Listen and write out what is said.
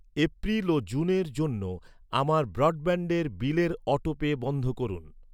April ও জুনের জন্য আমার ব্রডব্যান্ডের বিলের অটোপে বন্ধ করুন।